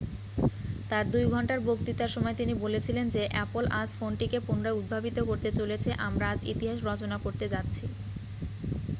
"তার 2 ঘণ্টার বক্তৃতার সময় তিনি বলেছিলেন যে "অ্যাপল আজ ফোনটিকে পুনরায় উদ্ভাবিত করতে চলেছে আমরা আজ ইতিহাস রচনা করতে যাচ্ছি""।